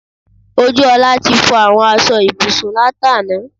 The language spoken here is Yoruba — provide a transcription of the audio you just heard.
Ojúọlá ti fọ àwọn aṣọ ibùsùn látàná